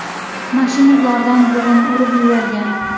Mashina ulardan birini urib yuborgan.